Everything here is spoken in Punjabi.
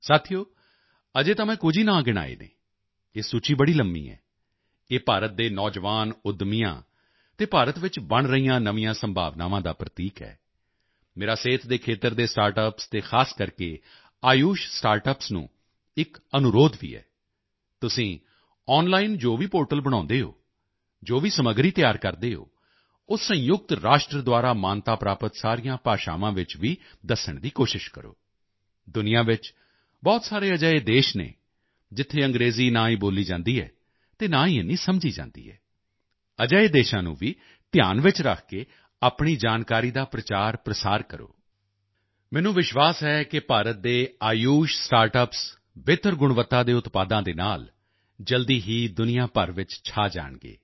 ਸਾਥੀਓ ਅਜੇ ਤਾਂ ਮੈਂ ਕੁਝ ਹੀ ਨਾਮ ਗਿਣਾਏ ਹਨ ਇਹ ਸੂਚੀ ਬੜੀ ਲੰਬੀ ਹੈ ਇਹ ਭਾਰਤ ਦੇ ਨੌਜਵਾਨ ਉੱਦਮੀਆਂ ਅਤੇ ਭਾਰਤ ਵਿੱਚ ਬਣ ਰਹੀਆਂ ਨਵੀਆਂ ਸੰਭਾਵਨਾਵਾਂ ਦਾ ਪ੍ਰਤੀਕ ਹੈ ਮੇਰਾ ਸਿਹਤ ਦੇ ਖੇਤਰ ਦੇ ਸਟਾਰਟਅੱਪਸ ਅਤੇ ਖਾਸ ਕਰਕੇ ਆਯੁਸ਼ ਸਟਾਰਟਅੱਪਸ ਨੂੰ ਇੱਕ ਅਨੁਰੋਧ ਵੀ ਹੈ ਤੁਸੀਂ ਔਨਲਾਈਨ ਜੋ ਵੀ ਪੋਰਟਲ ਬਣਾਉਂਦੇ ਹੋ ਜੋ ਵੀ ਕੰਟੈਂਟ ਕ੍ਰਿਏਟ ਕਰਦੇ ਹੋ ਉਹ ਸੰਯੁਕਤ ਰਾਸ਼ਟਰ ਦੁਆਰਾ ਮਾਨਤਾ ਪ੍ਰਾਪਤ ਸਾਰੀਆਂ ਭਾਸ਼ਾਵਾਂ ਵਿੱਚ ਵੀ ਦੱਸਣ ਦੀ ਕੋਸ਼ਿਸ਼ ਕਰੋ ਦੁਨੀਆ ਵਿੱਚ ਬਹੁਤ ਸਾਰੇ ਅਜਿਹੇ ਦੇਸ਼ ਹਨ ਜਿੱਥੇ ਅੰਗਰੇਜ਼ੀ ਨਾ ਹੀ ਬੋਲੀ ਜਾਂਦੀ ਹੈ ਅਤੇ ਨਾ ਹੀ ਏਨੀ ਸਮਝੀ ਜਾਂਦੀ ਹੈ ਅਜਿਹੇ ਦੇਸ਼ਾਂ ਨੂੰ ਵੀ ਧਿਆਨ ਵਿੱਚ ਰੱਖ ਕੇ ਆਪਣੀ ਜਾਣਕਾਰੀ ਦਾ ਪ੍ਰਚਾਰਪ੍ਰਸਾਰ ਕਰੋ ਮੈਨੂੰ ਵਿਸ਼ਵਾਸ ਹੈ ਕਿ ਭਾਰਤ ਦੇ ਆਯੁਸ਼ ਸਟਾਰਟਅੱਪਸ ਬਿਹਤਰ ਗੁਣਵੱਤਾ ਦੇ ਉਤਪਾਦਾਂ ਦੇ ਨਾਲ ਜਲਦੀ ਹੀ ਦੁਨੀਆ ਭਰ ਵਿੱਚ ਛਾ ਜਾਣਗੇ